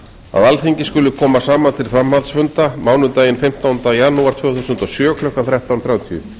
að alþingi skuli koma saman til framhaldsfunda mánudaginn fimmtánda janúar tvö þúsund og sjö klukkan tuttugu og þrjú þrjátíu